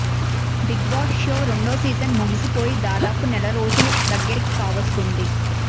big Boss show రెండో season ముగిసిపోయి దాదాపు నెల రోజులు దగ్గరకి కావస్తుంది